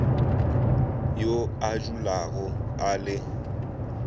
yo a dulago a le